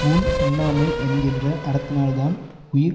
ஊன் உண்ணாமை என்கின்ற அறத்தினால்தான் உயிர்